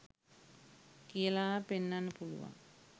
කියලා පෙන්නන්න පුළුවන්